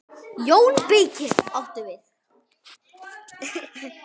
JÓN BEYKIR: Áttu við.